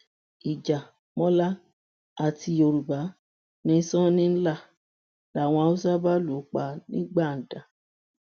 ìjà mọlá àti yorùbá ni sanni ń lá làwọn haúsá bá lù ú pa nígbàdàn